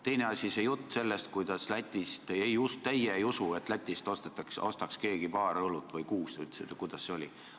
Teine asi: jutt sellest, et teie ei usu, et keegi läheks Lätti paari või kuut õlut ostma või mis see oligi.